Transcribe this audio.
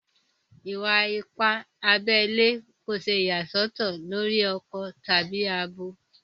Ìwà-ìpà àbèlè kò ṣè iyàsòtò lórí akọ̀ tabi àbọ.